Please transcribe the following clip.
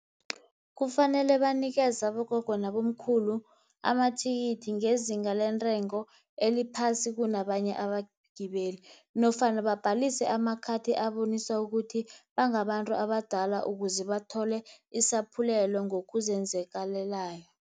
Kufanele banikeze abogogo nabomkhulu amathikithi, ngezinga lentengo eliphasi kunabanye abagibeli, nofana bhalise amakhathi abonisa ukuthi bangabantu abadala, ukuze bathole isaphulelo ngokuzenzakalelako.